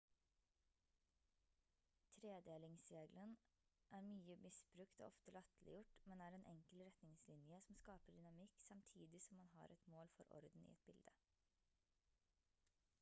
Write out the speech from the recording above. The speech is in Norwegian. tredelingsreglene er mye misbrukt og ofte latterliggjort men er en enkel retningslinje som skaper dynamikk samtidig som man har et mål for orden i et bilde